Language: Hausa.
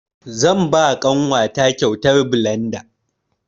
Zan ba ƙanwa ta kyautar blanda.